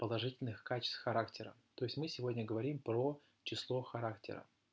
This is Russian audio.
положительных качеств характера то есть мы сегодня говорим про число характера